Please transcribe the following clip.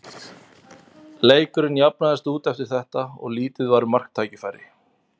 Leikurinn jafnaðist út eftir þetta og lítið var um marktækifæri.